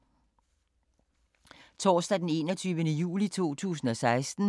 Torsdag d. 21. juli 2016